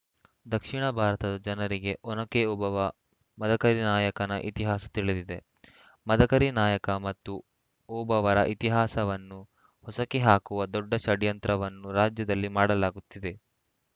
ದಕ್ಷಿಣ ಭಾರತದ ಜನರಿಗೆ ಒನಕೆ ಓಬವ್ವ ಮದಕರಿ ನಾಯಕನ ಇತಿಹಾಸ ತಿಳಿದಿದೆ ಮದಕರಿ ನಾಯಕ ಮತ್ತು ಓಬವ್ವರ ಇತಿಹಾಸವನ್ನು ಹೊಸಕಿ ಹಾಕುವ ದೊಡ್ಡ ಷಡ್ಯಂತ್ರವನ್ನು ರಾಜ್ಯದಲ್ಲಿ ಮಾಡಲಾಗುತ್ತಿದೆ